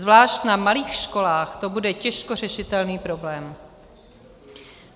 Zvlášť na malých školách to bude těžko řešitelný problém.